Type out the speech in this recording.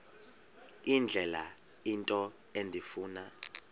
indlela into endifuna